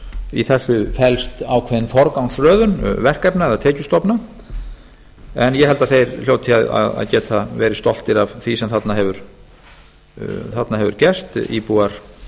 í þessu felst ákveðin forgangsröðun verkefna eða tekjustofna en ég held að þeir hljóti að geta verið stoltir af því sem þarna hefur gerst íbúar